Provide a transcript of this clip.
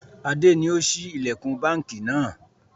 Adé ni ó ṣí ilẹkun báńkì náà.